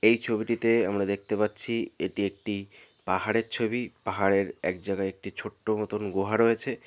এই ছবিটিতে আমরা দেখতে পাচ্ছি এটি একটি পাহাড়ের ছবি পাহাড়ের এক জায়গায় একটি ছোট্ট মতন গুহা রয়েছে।